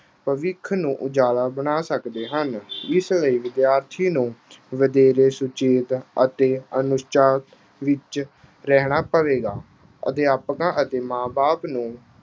ਭਵਿੱਖ ਨੂੰ ਉਜਵਲ ਬਣਾ ਸਕਦੇ ਹਨ। ਇਸ ਲਈ ਵਿਦਿਆਰਥੀ ਨੂੰ ਵਧੇਰੇ ਸੁਚੇਤ ਅਤੇ ਵਿੱਚ ਰਹਿਣਾ ਪਵੇਗਾ। ਅਧਿਆਪਕਾਂ ਅਤੇ ਮਾਂ-ਬਾਪ ਨੂੰ